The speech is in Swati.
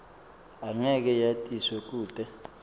angeke yatiswe kute